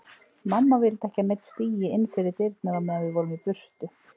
Mamma vildi ekki að neinn stigi inn fyrir dyrnar á meðan við vorum í burtu.